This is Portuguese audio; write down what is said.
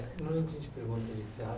Na hora que a gente pergunta, a gente se acha